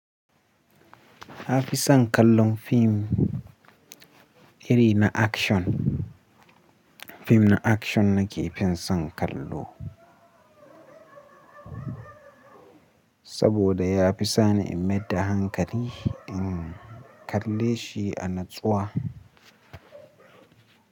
H a fi son kallon fim iri na action. Fim na action na ke fi son kallo saboda ya fi sani in meyar da hankali in kalle shi a natsuwa.